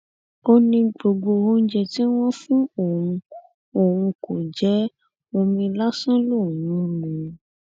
ó ní gbogbo oúnjẹ tí wọn fún òun òun kò jẹ ẹ omi lásán lòún ń mu